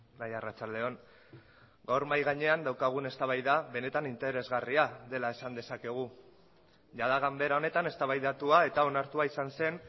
bai arratsalde on gaur mahai gainean daukagun eztabaida benetan interesgarria dela esan dezakegu jada ganbera honetan eztabaidatua eta onartua izan zen